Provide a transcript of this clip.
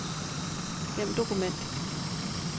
Gem dokument.